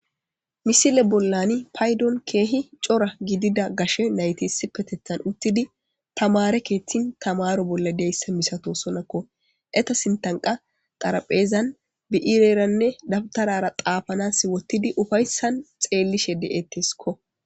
misile bollani paydon keehi cora gidida gashe nayti isipetethan uttidi tamare keethtin tamaro bolla deyssa misatosonakko eta sintan qa xaraphezan bi'ireranne dabtarara xaafanas wottidi ufayssan xeellishe de'ettesikko